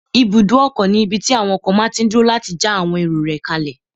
Ibùdókọ̀ ní ibí tí àwon ọkọ̀ máa tí n dúró láti já àwọn èrò rẹ̀ kálẹ̀